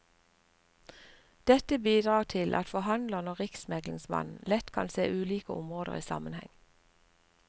Dette bidrar til at forhandlerne og riksmeglingsmannen lett kan se ulike områder i sammenheng.